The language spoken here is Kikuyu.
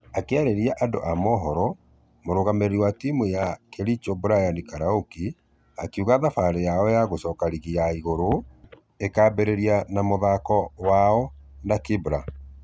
Akĩarĩria andũ a mohoro mũrugamĩrĩri wa timũ ya kericho brian karouki akĩuga thafarĩ yao ya gũcoka rigi ya igũrũ ĩkaambereria na mũthako wao na kibra.